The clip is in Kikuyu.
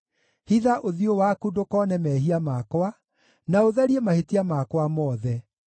Hitha ũthiũ waku ndũkoone mehia makwa, na ũtharie mahĩtia makwa mothe.